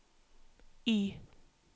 Y